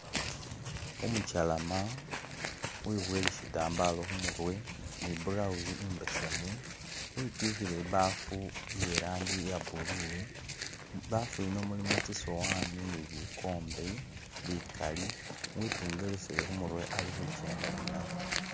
Umukyalama wibuwele shitambala khumurwe ni blouse imbesemu witikhile ibafu iye rangi iya blue, mu bafu yino mulimo tsisowani ni bikombe bikali, witungelesele khumurwe ali khukyenda ninabyo.